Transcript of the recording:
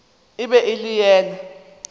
e be e le yena